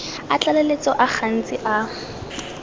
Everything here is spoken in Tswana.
a tlaleletso a gantsi a